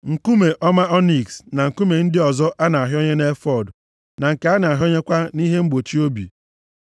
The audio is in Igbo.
nkume ọma ọniks, na nkume ndị ọzọ a na-ahịọnye nʼefọọd, na nke a na-ahịọnyekwa nʼihe mgbochi obi.